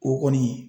O kɔni